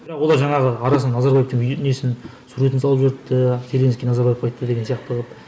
бірақ олар жаңағы арасында назарбаевтың несін суретін салып жіберіпті зеленский назарбаевқа айтты деген сияқты қылып